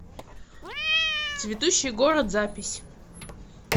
цветущий город запись